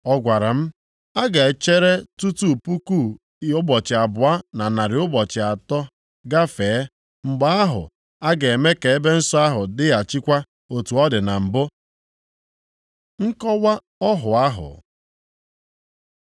Ọ gwara m, “A ga-echere tutu puku ụbọchị abụọ na narị ụbọchị atọ agafee, mgbe ahụ a ga-eme ka ebe nsọ ahụ dịghachikwa otu ọ dị na mbụ.” Nkọwa ọhụ ahụ